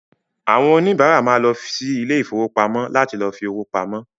Àwọn òníbárà ma lọ sí ilé ìfowópamọ́ láti lọ fi owó pamọ́